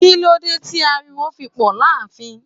Kí ló dé tí ariwo fi pò láàfin?